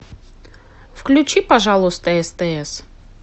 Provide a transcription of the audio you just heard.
включи пожалуйста стс